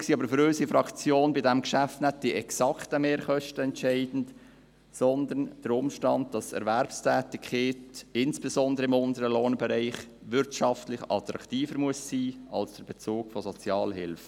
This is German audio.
Letztendlich sind aber für unsere Fraktion bei diesem Geschäft nicht die exakten Mehrkosten entscheidend, sondern die Tatsache, dass Erwerbstätigkeit – insbesondere im unteren Lohnbereich – wirtschaftlich attraktiver sein muss als der Bezug von Sozialhilfe.